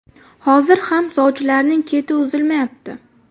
Hozir ham sovchilarning keti uzilmayapti.